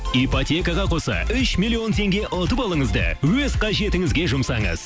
ипотекаға қоса үш миллион теңге ұтып алыңыз да өз қажетіңізге жұмсаңыз